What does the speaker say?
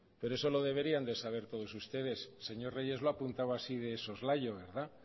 por eso lo deberían saber todos ustedes señor reyes lo ha apuntado así de soslayo verdad